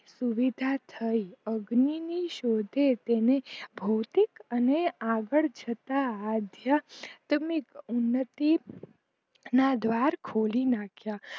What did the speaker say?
સુવિધા થઈ અગ્નિની શોધે તેને ભૌતિક અને આગડ જતાં અધ્યા તમે ઉન્નતિ ના દ્વાર ખોલી નાખ્યા